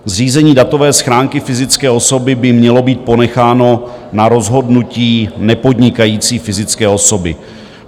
Zřízení datové schránky fyzické osoby by mělo být ponecháno na rozhodnutí nepodnikající fyzické osoby.